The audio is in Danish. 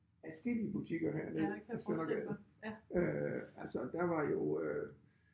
Adskillige butikker herned ad Søndergade øh altså der var jo øh